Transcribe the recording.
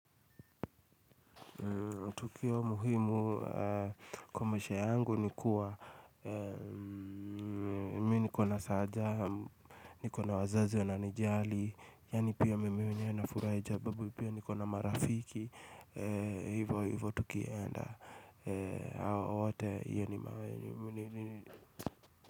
Tukio muhimu kwa maisha yangu nikuwa Minikona saaja, nikona wazazi wananijali Yani pia mimi mwenyewe nafurae jababu pia nikona marafiki Hivyo hivyo tukienda Hawote hiyo ni mawanyu.